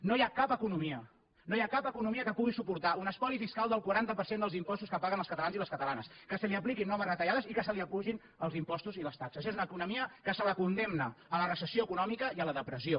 no hi ha cap economia no hi ha cap economia que pugui suportar un espoli fiscal del quaranta per cent dels impostos que paguen els catalans i les catalanes que se li apliquin noves retallades i que se li apugin els impostos i les taxes és una economia que se la condemna a la recessió econòmica i a la depressió